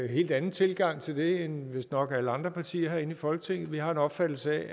helt anden tilgang til det end vistnok alle andre partier her i folketinget har vi har den opfattelse